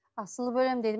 асылып өлемін дейді